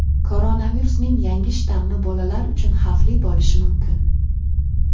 Koronavirusning yangi shtammi bolalar uchun xavfli bo‘lishi mumkin.